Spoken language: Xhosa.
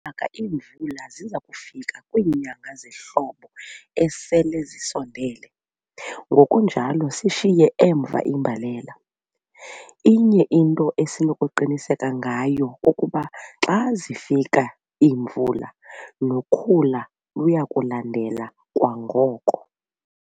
ka iimvula ziza kufika kwiinyanga zehlobo esele zisondele, ngokunjalo siyishiye emva imbalela. Inye into esinokuqiniseka ngayo kukuba xa zifika iimvula nokhula luya kulandela kwangoko.